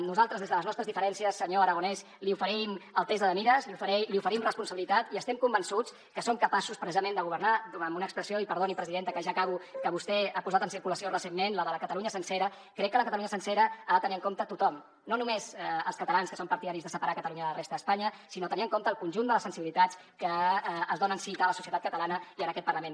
nosaltres des de les nostres diferències senyor aragonès li oferim altesa de mires li oferim responsabilitat i estem convençuts que som capaços precisament de governar amb una expressió i perdoni presidenta que ja acabo que vostè ha posat en circulació recentment la de la catalunya sencera crec que la catalunya sencera ha de tenir en compte tothom no només els catalans que són partidaris de separar catalunya de la resta d’espanya sinó tenir en compte el conjunt de les sensibilitats que es donen cita a la societat catalana i en aquest parlament